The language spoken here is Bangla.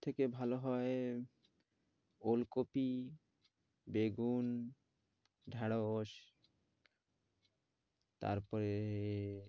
সবথেকে ভালো হয় ওলকপি বেগুন ঢেঁড়স তারপরে এ